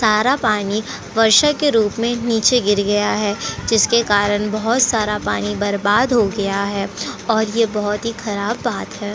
सारा पानी वर्षा के रूप में नीचे गिर गया है जिसके कारण बोहोत सारा पानी बर्बाद हो गया है और ये बात बोहोत ही ख़राब बात है।